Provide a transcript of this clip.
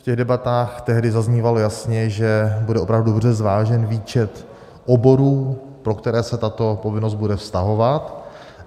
V těch debatách tehdy zaznívalo jasně, že bude opravdu dobře zvážen výčet oborů, na které se tato povinnost bude vztahovat.